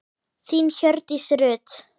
Þín, Hjördís Rut.